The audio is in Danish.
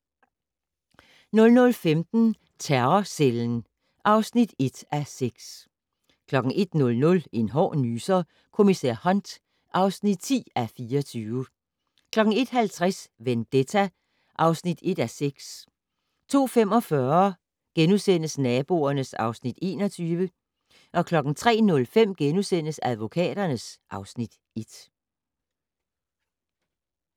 00:15: Terrorcellen (1:6) 01:00: En hård nyser: Kommissær Hunt (10:24) 01:50: Vendetta (1:6) 02:45: Naboerne (Afs. 21)* 03:05: Advokaterne (Afs. 1)*